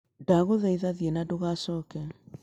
Ndagũthaitha thiĩ na ndũkanacooke